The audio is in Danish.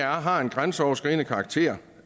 har en grænseoverskridende karakter